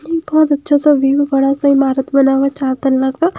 बहोत अच्छा सा व्यू बड़ा सा इमारत बना हुआ है चार तल्ला का--